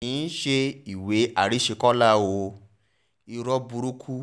kì í ṣe ìwé àrísẹ̀kọlá o irọ́ burúkú